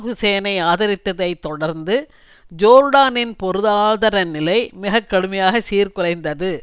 ஹூசேனை ஆதரித்ததைத் தொடர்ந்து ஜோர்டானின் பொருளாதார நிலை மிக கடுமையாக சீர்குலைந்தது